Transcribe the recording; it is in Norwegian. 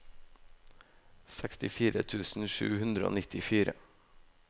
sekstifire tusen sju hundre og nittifire